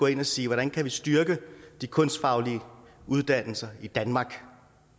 ind og sige hvordan kan vi styrke de kunstfaglige uddannelser i danmark